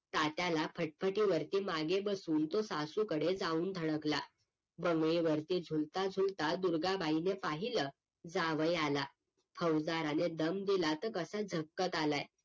तात्याला फटफटीवरती मागे बसवून तो सासूकडे जाऊन धडकला बंगलेवरती झुलता झुलता दुर्गाबाईने पाहिलं जावई आला फौजदाराने दम दिला तर कसा झटक्यात आलाय